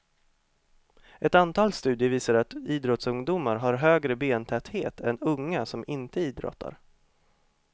Ett antal studier visar att idrottsungdomar har högre bentäthet än unga som inte idrottar.